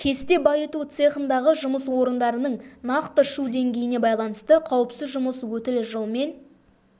кесте байыту цехындағы жұмыс орындарының нақты шу деңгейіне байланысты қауіпсіз жұмыс өтілі жылмен